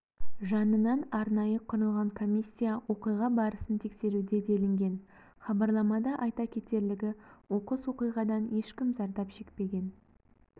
жанынан арнайы құрылған комиссия оқиға барысын тексеруде делінген хабарламада айта кетерлігі оқыс оқиғадан ешкім зардап шекпеген